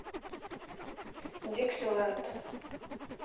диксиленд